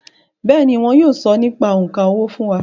Bẹ́ẹ̀ni, wọn yóò sọ nípa òǹkà owó fún wa